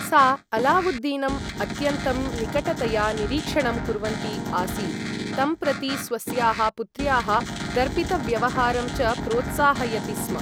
सा अलावुद्दीनम् अत्यन्तं निकटतया निरीक्षणं कुर्वन्ती आसीत्, तं प्रति स्वस्याः पुत्र्याः दर्पितव्यवहारं च प्रोत्साहयति स्म।